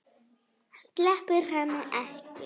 Sleppir henni ekki.